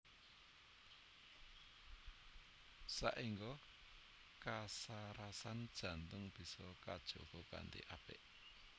Saéngga kasarasan jantung bisa kajaga kanthi apik